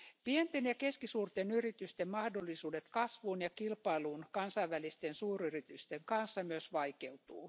Pienten ja keskisuurten yritysten mahdollisuudet kasvuun ja kilpailuun kansainvälisten suuryritysten kanssa myös vaikeutuvat.